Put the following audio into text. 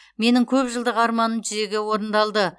менің көпжылдық арманым жүзеге орындалды